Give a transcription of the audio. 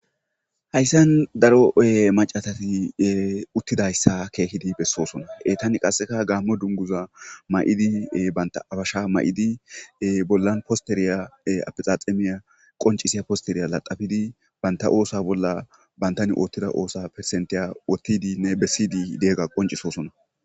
Haysan daro macasat utidaysa keehippe besosona,etan qase Gamo dunguza mayid banta abesha mayid bollan losteriya afexaxemiya qoncisya banta osuwa bolla bantan otida osa %tiya wotidinne besid diyaga qoncisosoan.